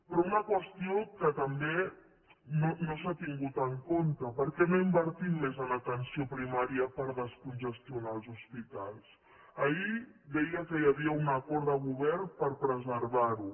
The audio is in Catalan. però una qüestió que tampoc no s’ha tingut en compte per què no invertim més en atenció primària per descongestionar els hospitals ahir deia que hi havia un acord de govern per preservar ho